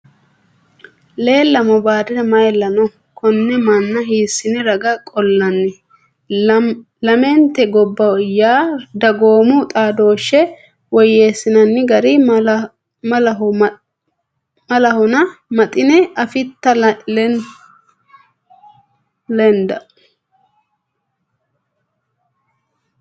Leellamo baadiri mayilla no? Konne manna hiissine raga qollanni? Lamenti gamba yee dagoomu xaadooshshe woyyeessinanni gara malanno Maxine: Afitta Leenda?